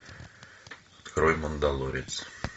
открой мандалорец